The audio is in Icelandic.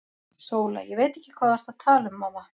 SÓLA: Ég veit ekki hvað þú ert að tala um, mamma.